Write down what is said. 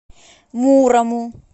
мурому